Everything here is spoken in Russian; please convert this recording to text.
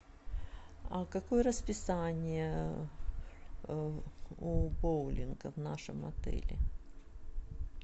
какое расписание у боулинга в нашем отеле